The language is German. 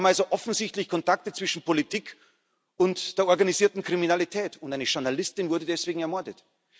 hat. Wir haben also offensichtlich Kontakte zwischen Politik und der organisierten Kriminalität, und eine Journalistin wurde deswegen ermordet.